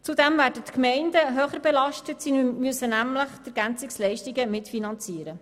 Zudem werden die Gemeinden stärker belastet, denn sie müssen die Ergänzungsleistungen mitfinanzieren.